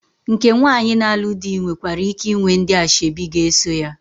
Nke nwaanyị na-alụ di nwekwara ike ịnwe ndị ashebi ga-eso ya.